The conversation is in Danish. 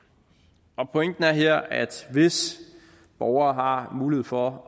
pointen er her at hvis borgere har mulighed for